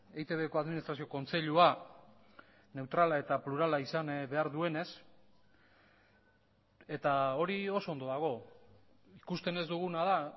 eitbko administrazio kontseilua neutrala eta plurala izan behar duenez eta hori oso ondo dago ikusten ez duguna da